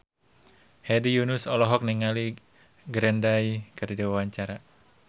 Hedi Yunus olohok ningali Green Day keur diwawancara